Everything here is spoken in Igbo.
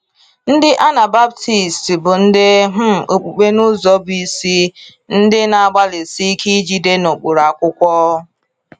Ndị Anabaptists bụ ndị um okpukpe n’ụzọ bụ isi, ndị na-agbalịsi ike ijide n’ụkpụrụ Akwụkwọ.